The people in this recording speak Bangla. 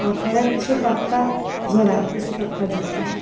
ফলে কিছু পাত্তা জড়ায়ে কিছু পাত্তা যুক্তা।